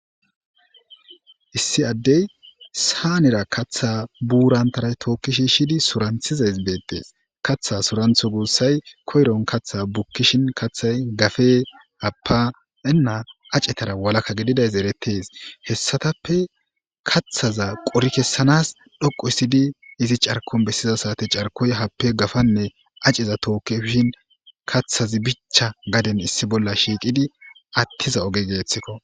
issi addey saanera kaththa buurantaray tookki shi shidi suranthiza is beettees katha surantho guussay koyron kaththa bukkishin kaththay gafe happaea acetara walakka gididays erettees hessatappe kaththaza qori kessanas dhoqo issidi izi carkon bessiza saate carkoy happe gafanne aceza tookkeshin kathazi bicha gaden issi bolla shiiqidi attiza oge geeththikko